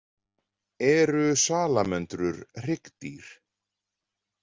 Eru salamöndrur hryggdýr?